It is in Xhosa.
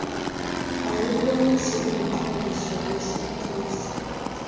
ayiwubonisi umqondiso wetissa